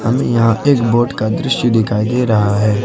हमें यहां एक बोट का दृश्य दिखाई दे रहा है।